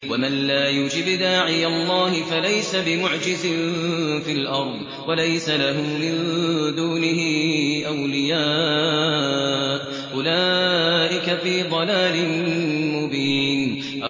وَمَن لَّا يُجِبْ دَاعِيَ اللَّهِ فَلَيْسَ بِمُعْجِزٍ فِي الْأَرْضِ وَلَيْسَ لَهُ مِن دُونِهِ أَوْلِيَاءُ ۚ أُولَٰئِكَ فِي ضَلَالٍ مُّبِينٍ